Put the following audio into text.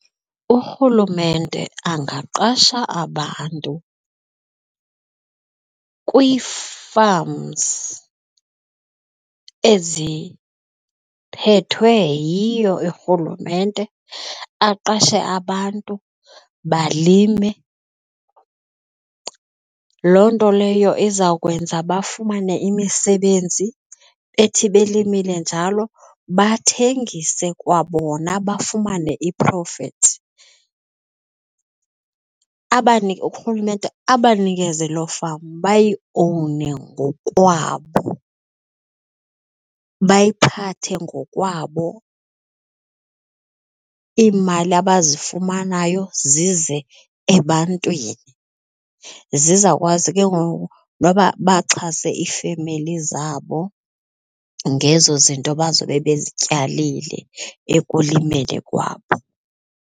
Urhulumente angaqasha abantu kwii-farms eziphethe yiyo irhulumente aqashe abantu balime. Loo nto leyo izawukwenza bafumane imisebenzi ethi belimile njalo bathengise kwabona bafumane i-profit. Abanike urhulumente abanikeze loo farm bayiowune ngokwabo bayiphathe ngokwabo iimali abazifumanayo zize ebantwini zizawukwazi ke ngoku noba baxhase iifemeli zabo ngezo zinto bazobe bezityalile ekulimeni kwabo.